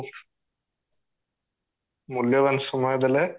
ମୂଲ୍ୟବାନ ସମୟ ଦେଲେ